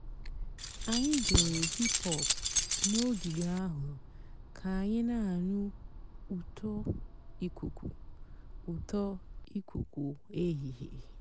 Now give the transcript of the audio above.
ányị́ gèéré hìp-hòp n'ògíge àhú́ kà ànyị́ nà-ànụ́ ụ́tọ́ ìkùkú ụ́tọ́ ìkùkú èhìhè.